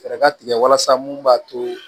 Fɛɛrɛ ka tigɛ walasa mun b'a to